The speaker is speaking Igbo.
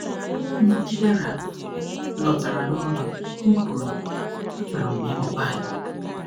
Mgbe Chidera lọtara n’ụlọ, m kwuru, "Achọrọ m ịmụ Baịbụl."